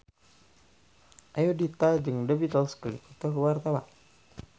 Ayudhita jeung The Beatles keur dipoto ku wartawan